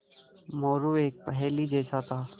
मोरू एक पहेली जैसा था